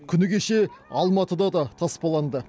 күні кеше алматыда да таспаланды